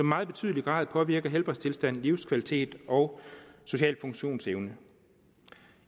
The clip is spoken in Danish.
meget betydelig grad påvirker helbredstilstand livskvalitet og social funktionsevne